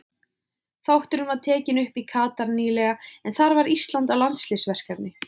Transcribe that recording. Þátturinn var tekinn upp í Katar nýlega en þar var Ísland í landsliðsverkefni.